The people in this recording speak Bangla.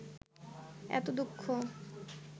এত দুঃখ